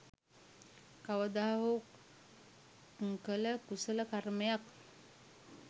කවදා හෝ කළ කුසල කර්මයක්